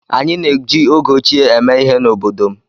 Anyị na-eji ego óchiè eme ihe n'obodo m.